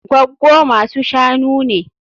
Gwaggo masu-shanu ne